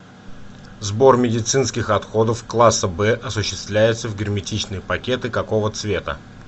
сбор медицинских отходов класса б осуществляется в герметичные пакеты какого цвета